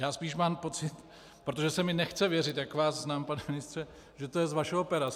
Já spíš mám pocit, protože se mi nechce věřit, jak vás znám, pane ministře, že to je z vašeho pera.